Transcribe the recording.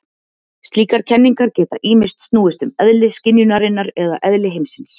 Slíkar kenningar geta ýmist snúist um eðli skynjunarinnar eða eðli heimsins.